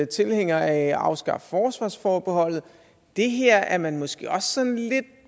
tilhænger af at afskaffe forsvarsforbeholdet det her er man måske også sådan lidt